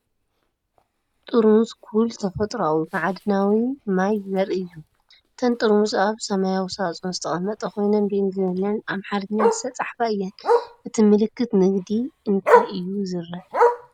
ጥርሙዝ "ኩል" ተፈጥሮኣዊ ማዕድናዊ ማይ ዘርኢ እዩ። እተን ጥርሙዝ ኣብ ሰማያዊ ሳጹን ዝተቐመጣ ኮይነን ብእንግሊዝኛን ኣምሓርኛን ዝተጻሕፋ እየን። እቲ ምልክት ንግዲ እንታይ እዩ ዝርአ?